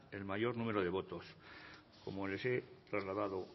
el mayor número de votos como les he trasladado